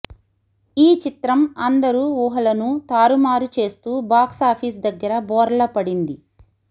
ఈ చిత్రం అందరు ఉహాలను తారుమారు చేస్తూ బాక్స్ ఆఫీస్ దగ్గర బోర్ల పడింది